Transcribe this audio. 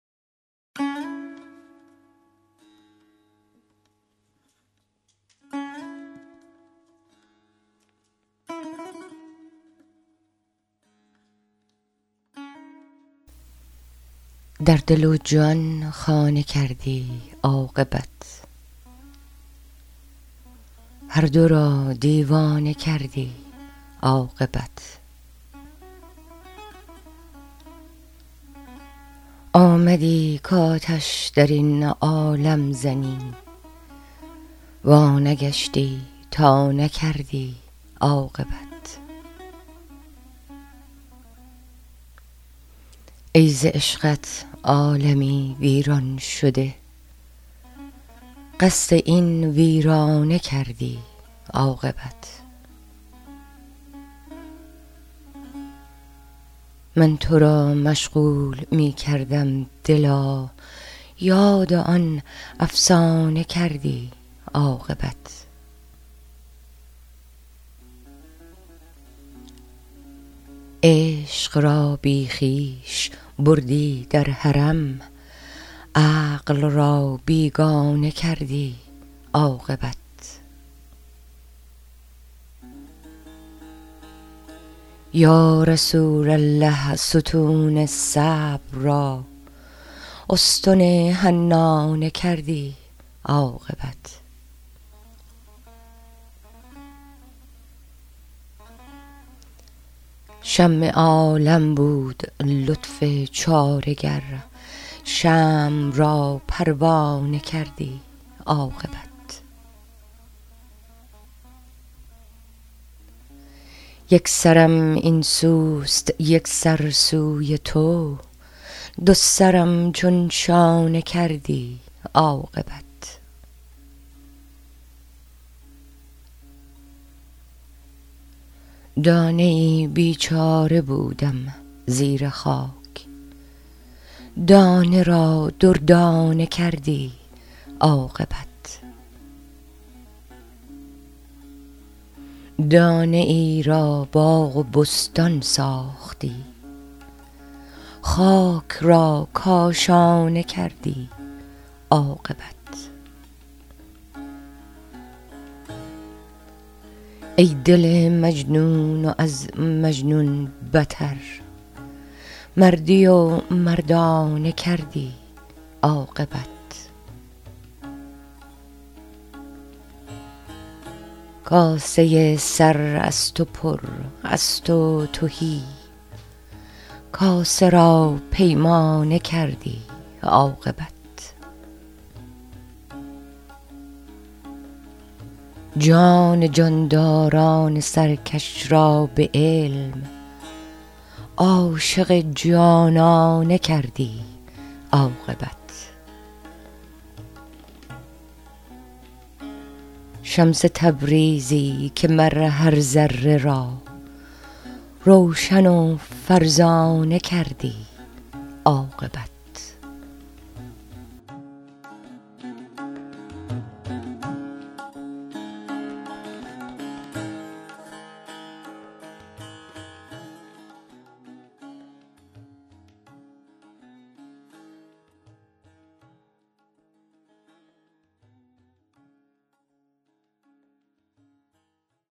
در دل و جان خانه کردی عاقبت هر دو را دیوانه کردی عاقبت آمدی کآتش در این عالم زنی وانگشتی تا نکردی عاقبت ای ز عشقت عالمی ویران شده قصد این ویرانه کردی عاقبت من تو را مشغول می کردم دلا یاد آن افسانه کردی عاقبت عشق را بی خویش بردی در حرم عقل را بیگانه کردی عاقبت یا رسول الله ستون صبر را استن حنانه کردی عاقبت شمع عالم بود لطف چاره گر شمع را پروانه کردی عاقبت یک سرم این سوست یک سر سوی تو دو سرم چون شانه کردی عاقبت دانه ای بیچاره بودم زیر خاک دانه را دردانه کردی عاقبت دانه ای را باغ و بستان ساختی خاک را کاشانه کردی عاقبت ای دل مجنون و از مجنون بتر مردی و مردانه کردی عاقبت کاسه سر از تو پر از تو تهی کاسه را پیمانه کردی عاقبت جان جانداران سرکش را به علم عاشق جانانه کردی عاقبت شمس تبریزی که مر هر ذره را روشن و فرزانه کردی عاقبت